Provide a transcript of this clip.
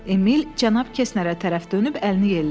Emil Cənab Kesnerə tərəf dönüb əlini yellədi.